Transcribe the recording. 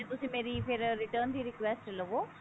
ਹਜੇ ਮੇਰੀ ਫੇਰ return ਦੀ request ਲਵੋ